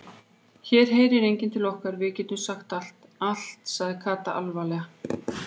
Hér heyrir enginn til okkar, við getum sagt allt sagði Kata alvarleg.